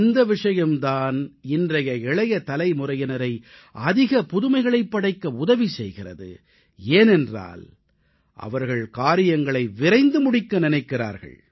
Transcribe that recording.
இந்த விஷயம் தான் இன்றைய இளைய தலைமுறையினரை அதிக புதுமைகளைப் படைக்க உதவி செய்கிறது ஏனென்றால் அவர்கள் காரியங்களை விரைந்து முடிக்க நினைக்கிறார்கள்